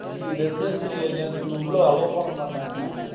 G residential area ன்னு சொல்லி உள்ள allow பண்ண மாட்டாங்க.